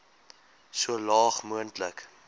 so laag moontlik